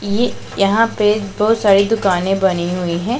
ये यहां पे बहुत सारी दुकानें बनी हुई हैं।